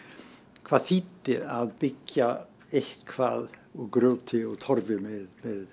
hvað þýddi að byggja eitthvað úr grjóti og Torfi með